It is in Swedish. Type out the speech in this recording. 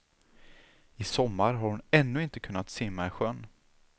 I sommar har hon ännu inte kunnat simma i sjön.